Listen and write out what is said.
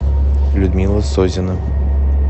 людмила созина